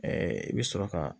i bɛ sɔrɔ ka